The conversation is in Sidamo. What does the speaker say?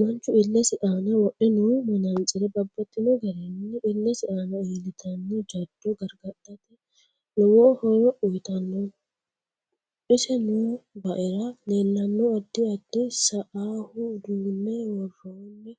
Manchu illesi aana wodhe noo manatsire babbaxinno garinni illesi aana illtanno jaddo gargadhate lowo horo uyiitanno ise noo baaera leelanno addi addi seeau uduune worooni